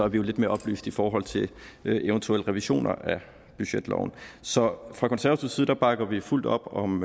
vi jo lidt mere oplyste i forhold til eventuelle revisioner af budgetloven så fra konservativ side bakker vi fuldt op om